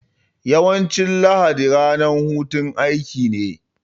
Yawancin talata ranar hutun aiki ce